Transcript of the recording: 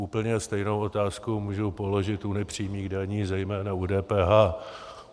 Úplně stejnou otázku můžu položit u nepřímých daní, zejména u DPH.